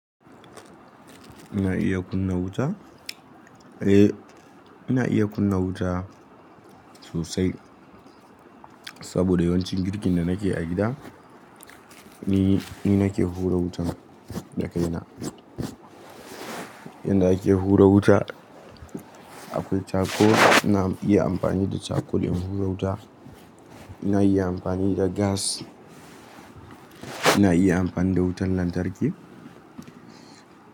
Ina iya kunna wuta? Eh, ina iya kunna wuta sosai saboda yawancin girkin da nake a gida ni, ni nake hura wutan da kaina. Yanda ake hura wuta, akwai gawayi, ina iya amfani da gawayil in hura wuta, ina iya amfani da iskar gas, ina iya amfani da wutar lantarki.